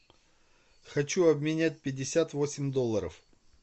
хочу обменять пятьдесят восемь долларов